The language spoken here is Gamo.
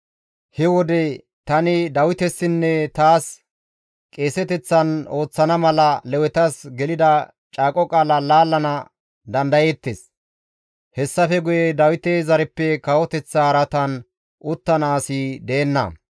he wode tani Dawitesinne taas qeeseteththan ooththana mala Lewetas gelida caaqo qaala laallana dandayettees; hessafe guye Dawite zareppe kawoteththa araatan uttana asi deenna.